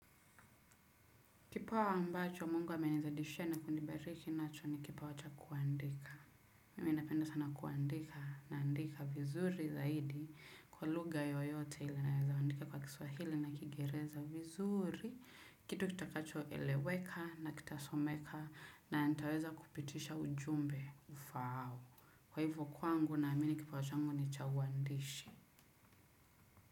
Kipawa ambacho mung uamenizidishia na kunibariki nacho ni kipawa cha kuandika. Mimi napenda sana kuandika naandika vizuri zaidi kwa lugha yoyote ile naweza andika kwa kiswahili na kingereza vizuri. Kitu kitakacho eleweka na kitasomeka na ntaweza kupitisha ujumbe ufaao. Kwa hivyo kwangu naamini kipawa changu ni cha uandishi.